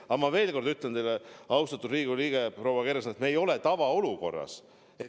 Aga ma veel kord ütlen teile, austatud Riigikogu liige proua Kersna, et me ei ole tavaolukorras.